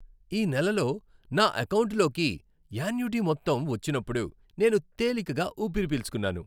ఈ నెలలో నా ఎకౌంటులోకి యాన్యుటీ మొత్తం వచ్చినప్పుడు నేను తేలికగా ఊపిరి పీల్చుకున్నాను.